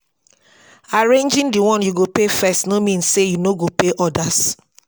arranging the one yu go pay first no mean say yu no go pay odas.